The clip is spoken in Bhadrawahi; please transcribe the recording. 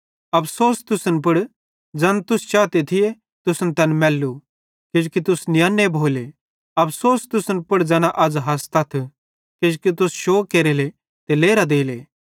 अफ़सोस तुसन पुड़ ज़ैन तुस चाते थिये तुसन तैन मैल्लू किजोकि तुस नियन्ने भोले अफ़सोस तुसन पुड़ ज़ैना अज़ हसतथ किजोकि तुस शोग केरेले ते लेरां देले